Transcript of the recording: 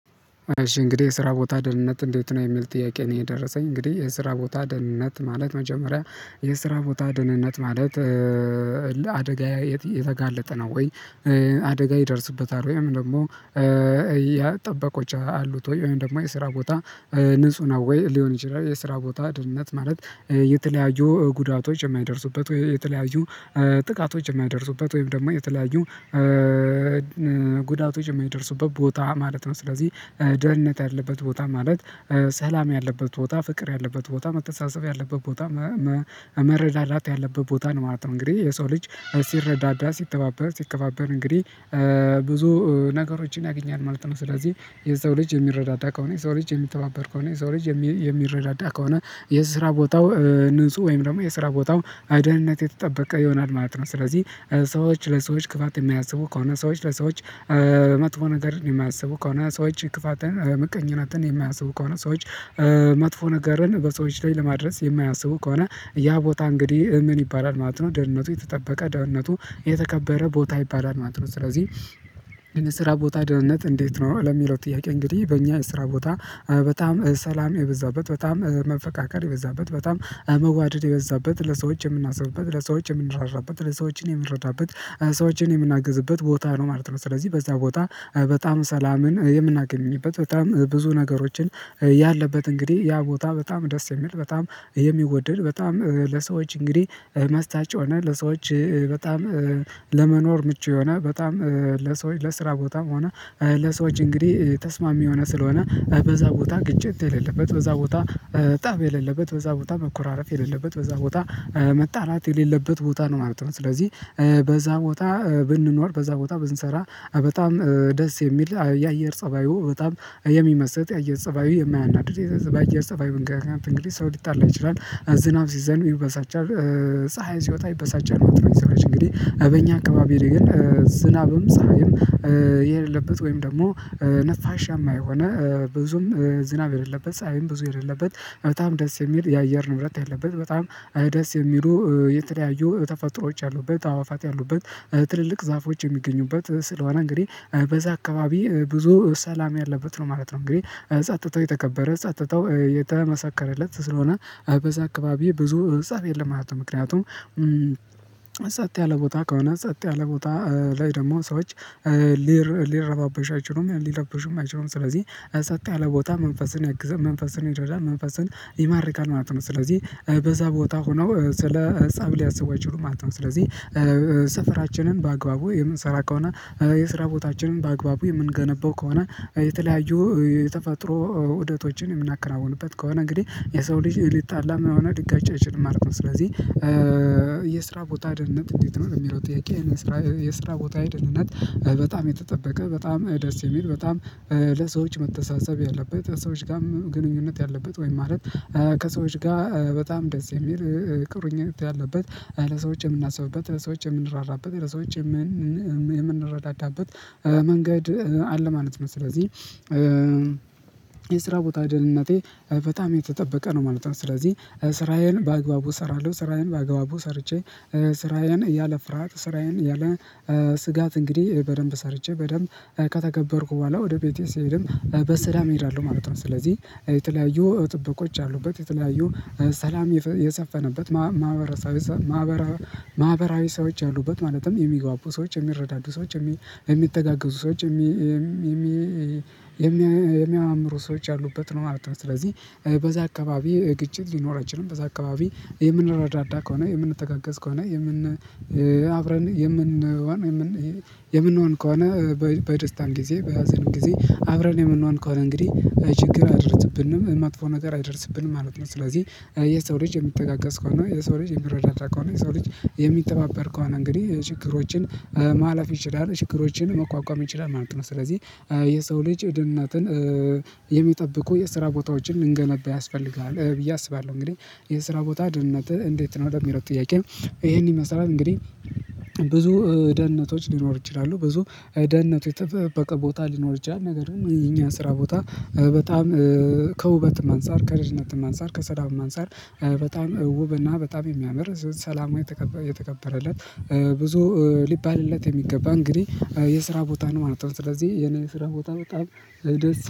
እሺ እንግዲህ የስራ ቦታ ደህንነት እንዴት ነው የሚል ጥያቄ ነው የደረሰኝ እንግዲህ የስራ ቦታ ደህንነት ማለት መጀመሪያ የስራ ቦታ ድህነት ማለት አደጋዬ የተጋለጠ ነው ወይ? አደጋ ይደርስበታል ወይም ደግሞ ያ ጠበቆች አሉት ወይም ደግሞ የስራ ቦታ ንጹህ ነው ወይ ሊሆን ይችላል የስራ ቦታ ድምነት ማለት የተለያዩ ጉዳቶች የማይደርሱበት ወይ የተለያዩ ጥቃቶች የማይደርሱበት ወይም ደግሞ የተለያዩ ጉዳቶች የማይደርሱበት ቦታ ማለት ነው። ስለዚህ ደህንነት ያለበት ቦታ ማለት ሰላም ያለበት ቦታ ፍቅር ያለበት ቦታ መተሳሰብ ያለበት ቦታ መረዳዳት ያለበት ቦታ ነው ማለት ነው። እንግዲህ የሰው ልጅ ሲረዳዳ ሲተባበር ሲከባበር እንግዲህ ብዙ ነገሮችን ያገኛል ማለት ነው። ስለዚህ የሰው ልጅ የሚረዳዳ ከሆነ የሰው ልጅ የሚተባበር ከሆነ የሰው ልጅ የሚረዳዳ ከሆነ የስራ ቦታው ንጹህ ወይም ደግሞ የስራ ቦታው አይደህንነት የተጠበቀ ይሆናል ማለት ነው። ስለዚህ ሰዎች ለሰዎች ክፋት የሚያስቡ ከሆነ ሰዎች ለሰዎች መጥፎ ነገርን የማያስቡ ከሆነ ሰዎች ክፋትን ምቀኝነትን የማያስቡ ከሆነ ሰዎች መጥፎ ነገርን በሰዎች ላይ ለማድረስ የማያስቡ ከሆነ ያ ቦታ እንግዲህ ምን ይባላል ማለት ነው ደህንነቱ የተጠበቀ ደህንነቱ የተከበረ ቦታ ይባላል ማለት ነው። ስለዚህ ለነ ስራ ቦታ ደህንነት እንዴት ነው ለሚለው ጥያቄ እንግዲህ በእኛ የስራ ቦታ በጣም ሰላም የበዛበት በጣም መፈቃቀር የበዛበት በጣም መጓደድ የበዛበት ለሰዎች የምናስብበት ለሰዎች የምንራራበት ለሰዎች የምንረዳበት ሰዎችን የምናግዝበት ቦታ ነው ማለት ነው። ስለዚህ በዛ ቦታ በጣም ሰላምን የምናገኝበት በጣም ብዙ ነገሮችን ያለበት እንግዲህ ያ ቦታ በጣም ደስ የሚል በጣም የሚወድድ በጣም ለሰዎች እንግዲህ መስጠት የሆነ ለሰዎች በጣም ለመኖር ምቹ የሆነ በጣም ለሰዎች ለስራ ቦታም ሆነ ለሰዎች እንግዲህ ተስማሚ ሆነ ስለሆነ በዛ ቦታ ግጭት የሌለበት በዛ ቦታ ጣቢያ የሌለበት በዛ ቦታ መኮራረፍ የሌለበት በዛ ቦታ መጣላት የሌለበት ቦታ ነው ማለት ነው። ስለዚህ በዛ ቦታ ብንኖር በዛ ቦታ ብንሰራ በጣም ደስ የሚል የአየር ፀባዩ በጣም የሚመስል የአየር ፀባዩ የማያናድድ የአየር ፀባይ መንገድ እንግዲህ ሰው ሊጣላ ይችላል ዝናብ ሲዘልም ይበሳጫል። ፀሀይን ሲወጣ ይበሳጫል ወጥረሽ እንግዲህ በእኛ አካባቢ ላይ ግን ዝናብም ፀሀይም የሌለበት ወይም ደግሞ ነፋሻማ የሆነ ብዙም ዝናብ የሌለበት ፀሀይም ብዙ የሌለበት በጣም ደስ የሚል የአየር ንብረት ያለበት በጣም ደስ የሚሉ የተለያዩ ተፈጥሮዎች አሉበት አእዋዋፋት ያሉበት ትልልቅ ዛፎች የሚገኙበት ስለሆነ እንግዲህ በዛ አካባቢ ብዙ ሰላም ያለበት ነው ማለት ነው። እንግዲህ ፀጥተው የተከበረ ፀጥተው የተመሰከረለት ስለሆነ አበዛ አካባቢ ብዙ አበዛ የለም ማለት ነው። ምክንያቱም ጸጥ ያለ ቦታ ከሆነ ጸጥ ያለ ቦታ ላይ ደግሞ ሰዎች ሊረባበሽ አይችሉም ሊረባበሽም አይችሉም ስለዚህ ሰጥተህ አለ ቦታ መንፈስን ያግዘህ መንፈስን ይደደዳል መንፈስን ይማርካል ማለት ነው። ስለዚህ በዛ ቦታ ሆነው ስለ ፀብ ሊያስቡ አይችሉም ማለት ነው። ስለዚህ ስፍራችንን በአግባቡ የምንሰራ ከሆነ የስራ ቦታችንን በአግባቡ የምንገነባው ከሆነ የተለያዩ የተፈጥሮ ውደቶችን የምናከራውንበት ከሆነ እንግዲህ የሰው ልጅ ሊጣላም የሆነ ድጋጫ ይችል ማለት ነው። ስለዚህ የስራ ቦታ ደህንነት እንዴት ነው የሚለው ጥያቄ የስራ የስራ ቦታ ደህንነት በጣም የተጠበቀ በጣም ደስ የሚል በጣም ለሰዎች መተሳሰብ ያለበት ሰዎች ጋርም ግንኙነት ያለበት ወይም ማለት ከሰዎች ጋር በጣም ደስ የሚል ቅርኝት ያለበት ለሰዎች የምናስብበት ለሰዎች የምንራራበት ለሰዎች የምንረዳዳበት መንገድ አለ ማለት ነው። ስለዚህ የስራ ቦታ ደህንነቴ በጣም የተጠበቀ ነው ማለት ነው። ስለዚህ ስራዬን በአግባቡ እሰራለሁ ስራዬን በአግባቡ ሰርቼ ስራዬን እያለ ፍርሃት ስራዬን እያለ ስጋት እንግዲህ በደንብ ሰርቼ በደንብ ከተከበርኩ በኋላ ወደ ቤቴ ስሄድም በሰላም እሄዳለሁ ማለት ነው። ስለዚህ የተለያዩ ጥበቆች አሉበት የተለያዩ ሰላም የሰፈነበት ማህበራዊ ሰዎች አሉበት ማለትም የሚግባቡ ሰዎች የሚረዳዱ ሰዎች የሚተጋገዙ ሰዎች የሚያምሩ ሰዎች ያሉበት ነው ማለት ነው። ስለዚህ በዛ አካባቢ ግጭት ሊኖር አይችልም በዛ አካባቢ የምንረዳዳ ከሆነ የምንተጋገዝ ከሆነ የምን አብረን የምንሆን የምን የምንሆን ከሆነ በደስታን ጊዜ በሀዘንም ጊዜ አብረን የምንሆን ከሆነ እንግዲህ ችግር አደርስብንም ማጥፎ ነገር አይደርስብንም ማለት ነው። ስለዚህ የሰው ልጅ የሚተጋገስ ከሆነ የሰው ልጅ የሚረዳዳ ከሆነ የሰው ልጅ የሚተባበር ከሆነ እንግዲህ ችግሮችን ማለፍ ይችላል ችግሮችን መቋቋም ይችላል ማለት ነው። ስለዚህ የሰው ልጅ ድንነትን የሚጠብቁ የስራ ቦታዎችን እንገነባ ያስፈልጋል ብዬ አስባለሁ። እንግዲህ የስራ ቦታ ድህነትህ እንዴት ነው ወደሚረድ ጥያቄ? ይሄንን መሰራት እንግዲህ ብዙ ደህንነቶች ሊኖር ይችላሉ ብዙ ደህንነቶች የተጠቀቃ ቦታ ሊኖር ይችላል ነገር ይሄ እኛ ስራ ቦታ በጣም ከውበትም አንፃር ከረዥነትም አንፃር ከሰላም አንፃር በጣም ውብና በጣም የሚያምር ሰላማዊ የተከበረለት ብዙ ሊባልለት የሚገባ እንግዲህ የስራ ቦታ ነው ማለት ነው። ስለዚህ የኔ የስራ ቦታ በጣም